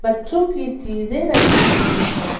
बच्चों की चीजें रखी हुई हैं।